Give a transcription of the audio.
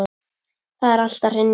Það er allt að hrynja.